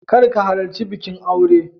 Kar ka halarci bikin aure.